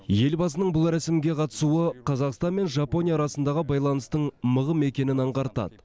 елбасының бұл рәсімге қатысуы қазақстан мен жапония арасындағы байланыстың мығым екенін аңғартады